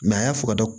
a y'a fɔ ka